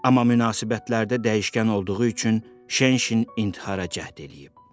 Amma münasibətlərdə dəyişkən olduğu üçün Şenşin intihara cəhd eləyib.